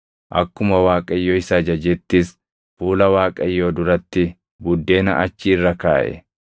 Akkuma Waaqayyo isa ajajettis fuula Waaqayyoo duratti buddeena achi irra kaaʼe.